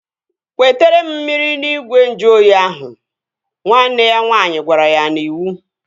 Wetere m mmiri n'igwe nju oyi ahụ! Nwanne ya nwaanyị gwara ya n'iwu